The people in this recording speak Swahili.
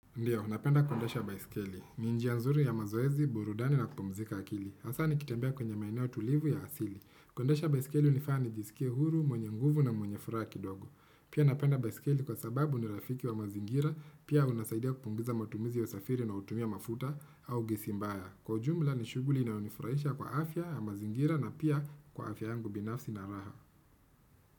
Ndiyo, napenda kuendesha baisikeli. Ni njia ya nzuri ya mazoezi, burudani na kupumzika akili. Hasa nikitembea kwenye maeneo tulivu ya asili. Kuendesha baisikeli nafaa nijisikie huru, mwenye nguvu na mwenye furaha kidogo. Pia napenda baisikeli kwa sababu ni rafiki wa mazingira, pia unasaidia kupunguza matumizi ya usafiri na hutumia mafuta au gesi mbaya. Kwa ujumla, nishughuli inayonifurahisha kwa afya ya mazingira na pia kwa afya yangu binafsi na raha.